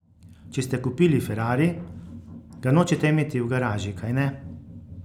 Če ste kupili ferrari, ga nočete imeti v garaži, kajne?